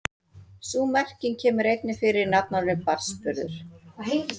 Sú merking kemur einnig fyrir í nafnorðinu barnsburður.